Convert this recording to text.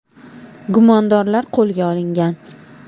Gumondorlar qo‘lga olingan.